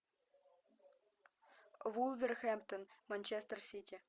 вулверхэмптон манчестер сити